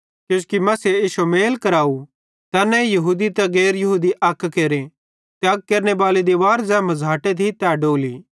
किजोकि मसीहे इश्शो मेले कराव तैन्ने यहूदी ते गैर यहूदी दुइये अक केरे ते अलग केरनेबाली दिवार ज़ै मझ़ाटे थी डोली